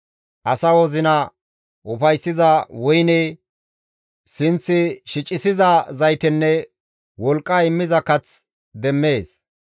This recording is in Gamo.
Asa wozina ufayssiza woyne, sinth shicissiza zaytenne wolqqa immiza kath demmees.